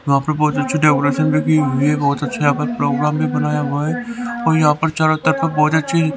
यहां पर बहुत अच्छी डेकोरेशन भी की हुई है बहुत अच्छा यहां पर प्रोग्राम भी बनाया हुआ है और यहां पर चारों तरफ बहुत अच्छी --